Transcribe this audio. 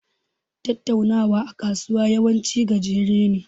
Tattaunawa a kasuwa yawanci gajere ne.